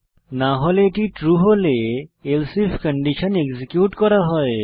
না হলে এটি ট্রু হলে এলসে আইএফ কন্ডিশন যাচাই এবং এক্সিকিউট করা হয়